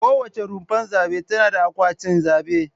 Kowace rumfar zabe tana da akwatin zabe.